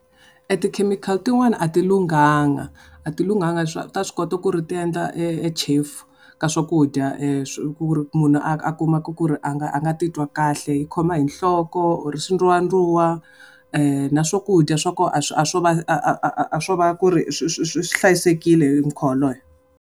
E ti-chemical tin'wana a ti lunghanga. A ti lunghanga ta swi kota ku ri ti endla e e chefu ka swakudya ku ri munhu a kumeka ku ri a nga a nga ti twi kahle. U khoma hi nhloko or hi swindzuwadzuwa na swakudya swa koho a swo va a a swo va ku ri swi swi swi hlayisekile hi mukhuva waloye.